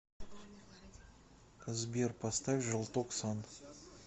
сбер поставь желтоксан